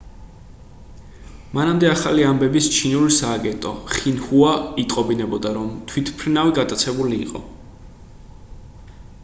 მანამდე ახალი ამბების ჩინური სააგენტო xinhua იტყობინებოდა რომ თვითმფრინავი გატაცებული იყო